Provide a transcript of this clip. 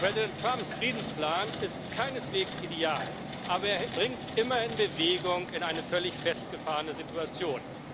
Präsident Trumps Friedensplan ist keineswegs ideal, aber er bringt immerhin Bewegung in eine völlig festgefahrene Situation.